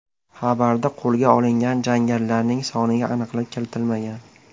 Xabarda qo‘lga olingan jangarilarning soniga aniqlik kiritilmagan.